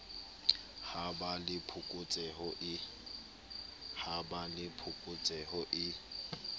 ha ba le phokotseho e